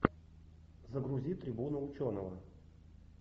загрузи трибуну ученого